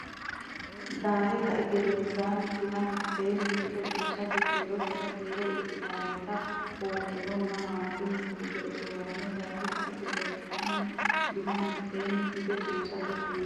Daahe kai gedensaanni duu mitanno gede qussate kiirtino kiiro ikkitinota hogunninna haanxunni fuge usuranno Daahe kai gedensaanni duu mitanno gede qussate kiirtino.